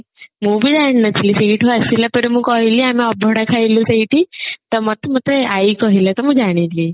ମୁଁ ବି ଜାଣି ନଥିଲି ସେଇଠୁ ଆସିଲା ପରେ ମୁଁ କହିଲି ଆମେ ଅଭଡା ଖାଇଲୁ ସେଇଠି ତ ମତେ ମତେ ଆଈ କହିଲା ତ ମୁଁ ଜାଣିଲି